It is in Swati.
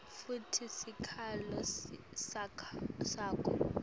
futsi sikhalo sakho